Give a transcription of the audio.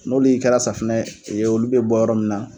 N'olu kɛra safunɛye ,olu bɛ bɔ yɔrɔ min na.